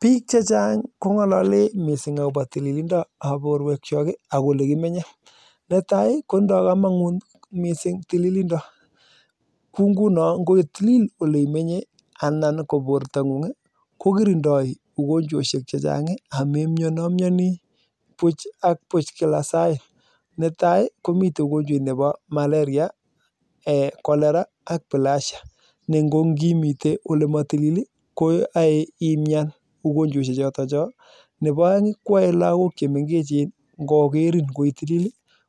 Biik chechang kongalalei akoboo tililindo neboo borwek chok ako olekimenyei netai kotindoi kamanut missing amuu kirindoi ugonjwoshek chechang amemnyonii mitei ugonjwet neboo malaria cholera ak bilharzia ne kimetei olematilil ii koae imnyan neboo aeng koae lakok chemengechen koroo